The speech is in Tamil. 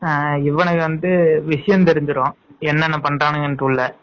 ஆஹ் இவனுக்கு வந்து விசையம் தெரிஞ்சுரும் என்னென்ன பண்ராங்கனு உள்ள